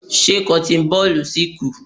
Ṣé cotton ball si ku?